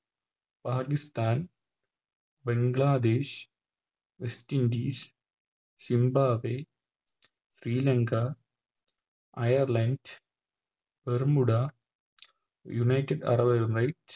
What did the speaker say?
Pakistan Bangladesh West Indies Zimbabwe Sri Lanka Ireland Bermuda United arab emirates